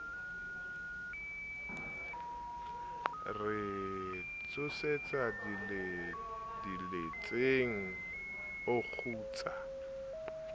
re tsosetsa diletseng o kgutsa